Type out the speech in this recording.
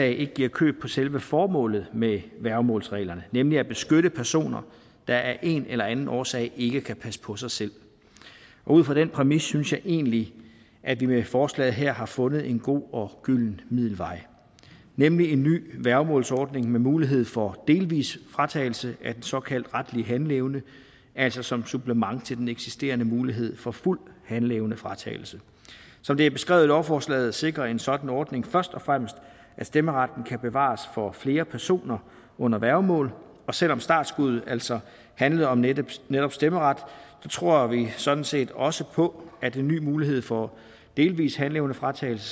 ikke giver køb på selve formålet med værgemålsreglerne nemlig at beskytte personer der af en eller anden årsag ikke kan passe på sig selv ud fra den præmis synes jeg egentlig at vi med forslaget her har fundet en god og gylden middelvej nemlig en ny værgemålsordning med mulighed for delvis fratagelse af den såkaldt retlige handleevne altså som supplement til den eksisterende mulighed for fuld handleevnefratagelse som det er beskrevet i lovforslaget sikrer en sådan ordning først og fremmest at stemmeretten kan bevares for flere personer under værgemål og selv om startskuddet altså handler om netop netop stemmeret tror vi sådan set også på at en ny mulighed for delvis handleevnefratagelse